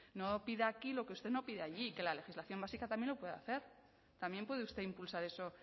no pida aquí lo que usted no pide allí que la legislación básica también lo puede hacer también puede usted impulsar eso